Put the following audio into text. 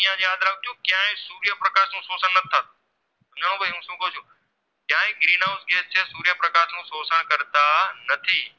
નથી